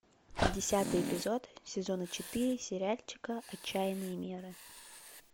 десятый эпизод сезона четыре сериальчика отчаянные меры